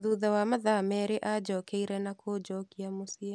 Thutha wa mathaa merĩ anjokeire na kũnjokia mũciĩ.